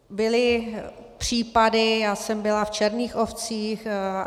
Byly případy, já jsem byla v Černých ovcích.